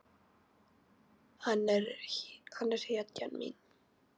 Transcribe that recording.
Hann er hetjan mín.